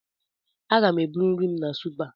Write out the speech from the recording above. Aga m eburu nri m na Supa.